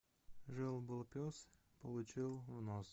жил был пес получил в нос